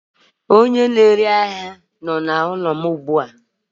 Onye na-ere ahia nọ n'ụlọ m ugbu a.